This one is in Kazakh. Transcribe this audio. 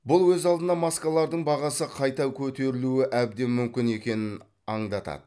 бұл өз алдына маскалардың бағасы қайта көтерілуі әбден мүмкін екенін аңдатады